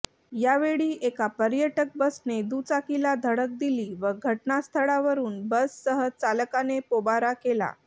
यावेळी एका पर्यटक बसने दुचाकीला धडक दिली व घटनास्थळावरून बससह चालकाने पोबारा केला